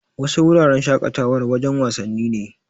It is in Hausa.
Wasu wuraren shaƙatawar, wajen wasanni ne.